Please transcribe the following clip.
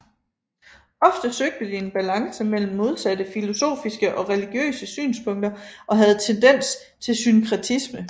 Ofte søgte de en balance mellem modsatte filosofiske og religiøse synspunkter og havde tendens til synkretisme